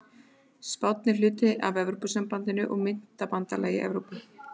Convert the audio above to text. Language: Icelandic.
Spánn er hluti af Evrópusambandinu og myntbandalagi Evrópu.